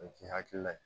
O ye k'i hakili la ye